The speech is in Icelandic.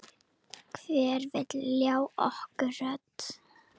Hver vill ljá okkur rödd?